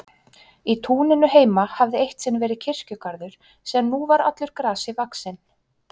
Í túninu heima hafði eitt sinn verið kirkjugarður sem nú var allur grasi vaxinn.